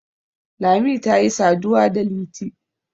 lami ta yi saduwa da liti